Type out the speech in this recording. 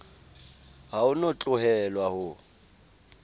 ha o no tlohelwa ho